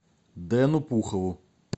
дэну пухову